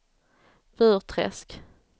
Burträsk